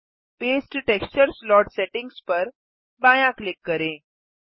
paste texture slot settings पर बायाँ click करें